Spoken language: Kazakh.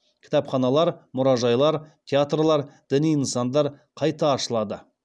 кітапханалар мұражайлар театрлар діни нысандар қайта ашылады